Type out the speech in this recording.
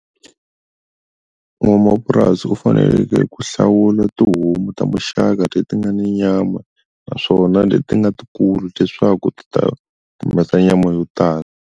N'wamapurasi u faneleke ku hlawula tihomu ta muxaka leti nga ni nyama naswona leti nga tikulu leswaku ti ta humesa nyama yo tala.